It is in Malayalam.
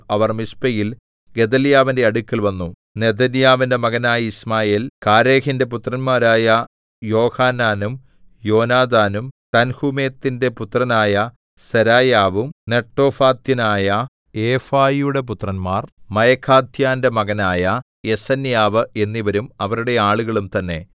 അവർ മിസ്പയിൽ ഗെദല്യാവിന്റെ അടുക്കൽ വന്നു നെഥന്യാവിന്റെ മകനായ യിശ്മായേൽ കാരേഹിന്റെ പുത്രന്മാരായ യോഹാനാനും യോനാഥാനും തൻഹൂമെത്തിന്റെ പുത്രനായ സെരായാവും നെട്ടോഫാഥ്യനായ എഫായിയുടെ പുത്രന്മാർ മയഖാഥ്യന്റെ മകനായ യെസന്യാവ് എന്നിവരും അവരുടെ ആളുകളും തന്നെ